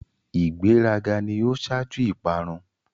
ìgbé rà gà ni o ṣaju ìparun.